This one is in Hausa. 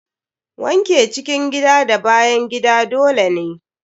Wanke cikin gida da bayan gida dole ne.